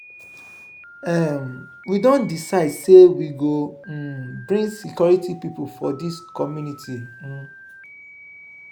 um we don decide sey we go um bring security pipo for dis community. um